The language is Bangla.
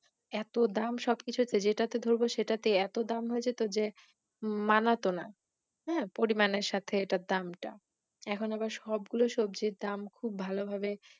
এতো দাম সবকিছুতে, যেটা ধরবো সেটাতেই এতো দাম হয়ে যেত যে মানাতোনা হাঁ পরিমান এর সাথে এটার দাম টা, এখন আবার সবগুলো সবজি এর দাম খুব ভালোভাবে